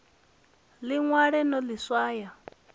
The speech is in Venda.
ḽi ṅwale no ḽi swaya